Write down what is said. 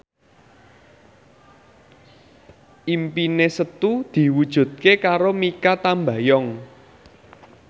impine Setu diwujudke karo Mikha Tambayong